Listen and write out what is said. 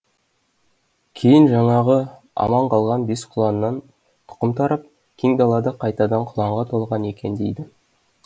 кейін жаңағы аман қалған бес құланнан тұқым тарап кең дала қайтадан құланға толған екен дейді